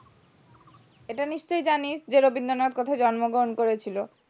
এটা নিশ্চয় জানিস যে রবীন্দ্রনাথ কোথায় জন্মগ্রহণ করেছিল